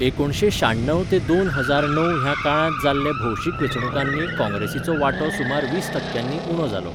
एकुणशें शाण्णव ते दोन हजार णव ह्या काळांत जाल्ले भौशीक वेंचणुकांनी काँग्रेसीचो वांटो सुमार वीस टक्क्यांनी उणो जालो.